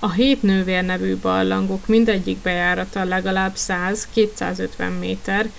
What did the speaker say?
a hét nővér” nevű barlangok mindegyik bejárata legalább 100-250 méter